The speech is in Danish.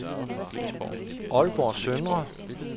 Aalborg Søndre